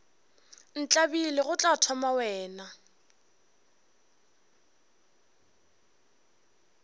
ntlabile go tla thoma wena